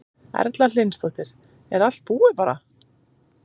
Erla Hlynsdóttir: Er allt búið bara?